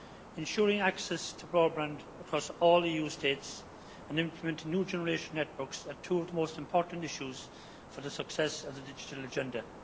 Ensuring access to broadband across all the Member States and implementing new generation networks are two of the most important issues for the success of the digital agenda.